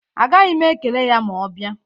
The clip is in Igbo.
Agaghị m ekele ya ma ọ bịa.